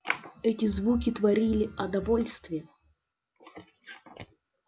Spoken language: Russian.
эти звуки творили о довольстве